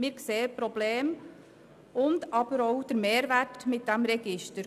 Wir sehen Probleme, aber auch den Mehrwert eines solchen Registers.